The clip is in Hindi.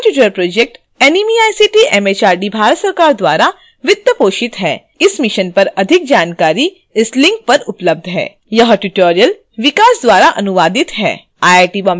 spoken tutorial project NMEICT MHRD Bharat सरकार द्वारा वित्त पोषित है इस mission पर अधिक जानकारी इस link पर उपलब्ध है